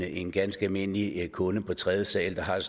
en ganske almindelig kunde på tredje sal der har et